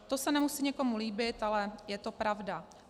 To se nemusí někomu líbit, ale je to pravda.